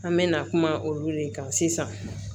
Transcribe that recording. An mɛna kuma olu de kan sisan